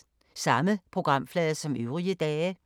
Samme programflade som øvrige dage